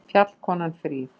Fjallkonan fríð!